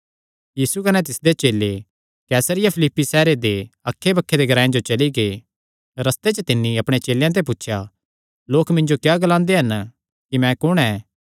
यीशु कने तिसदे चेले कैसरिया फिलिप्पी सैहरे दे अक्खैबक्खे दे ग्रांऐ जो चली गै रस्ते च तिन्नी अपणे चेलेयां ते पुछया लोक मिन्जो क्या ग्लांदे हन कि मैं कुण ऐ